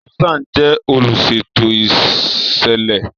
Susan jẹ oluṣeto iṣẹlẹ.